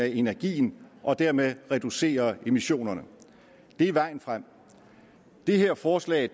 af energien og dermed reducere emissionerne det er vejen frem det her forslag